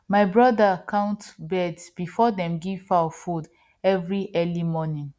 my brother count birds before dem give fowl food every early morning